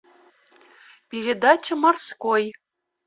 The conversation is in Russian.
передача морской